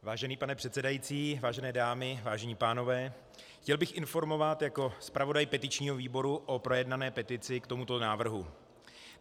Vážený pane předsedající, vážené dámy, vážení pánové, chtěl bych informovat jako zpravodaj petičního výboru o projednané petici k tomuto návrhu.